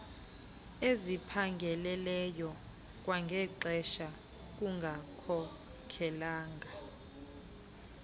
esiphangaleleyo kwangexesha kungakhokelela